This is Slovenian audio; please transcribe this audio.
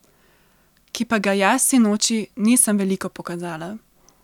Ki pa ga jaz sinoči nisem veliko pokazala.